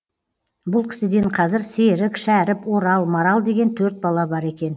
бұл кісіден қазір серік шәріп орал марал деген төрт бала бар екен